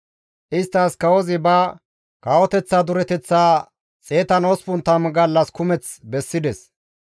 Isttas kawozi ba kawoteththa dureteththaa 180 gallas kumeth bessides.